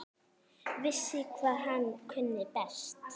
Vissi hvað hann kunni best.